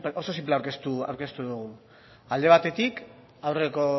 oso sinplea aurkeztu dugu alde batetik